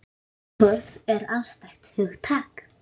Fegurð er afstætt hugtak.